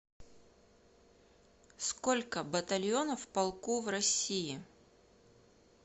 сколько батальонов в полку в россии